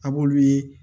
A b'olu ye